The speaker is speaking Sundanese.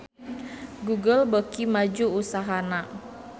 Google beuki maju usahana